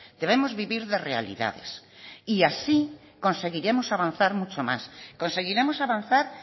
debemos vivir de realidades y así conseguiremos avanzar mucho más conseguiremos avanzar